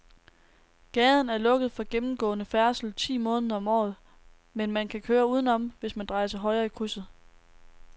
Gaden er lukket for gennemgående færdsel ti måneder om året, men man kan køre udenom, hvis man drejer til højre i krydset.